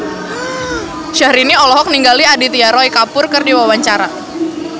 Syahrini olohok ningali Aditya Roy Kapoor keur diwawancara